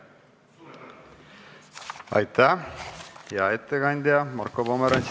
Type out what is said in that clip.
Aitäh, hea ettekandja Marko Pomerants!